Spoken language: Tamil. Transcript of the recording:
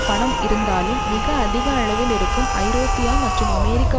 பணம் இருந்தாலும் மிக அதிக அளவில் இருக்கும் ஐரோப்பிய மற்றும் அமெரிக்க